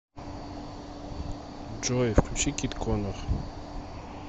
джой включи кит коннор